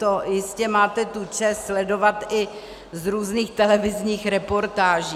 To jistě máte tu čest sledovat i z různých televizních reportáží.